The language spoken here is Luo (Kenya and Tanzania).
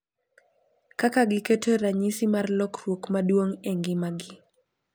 Kaka giketo ranyisi mar lokruok maduong’ e ngimagi.